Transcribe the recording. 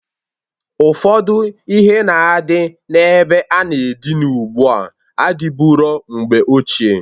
Ụfọdụ ihe na-adị na-ebe a na-adịna ụgbụa adịburo mgbe ochie.